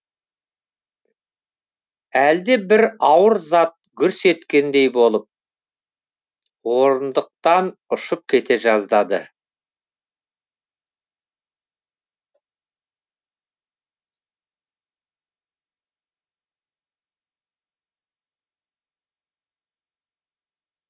әлде бір ауыр зат гүрс еткендей болып орындықтан ұшып кете жаздады